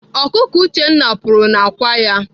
Ọkụkọ Uchenna kpuru n'akwa ya.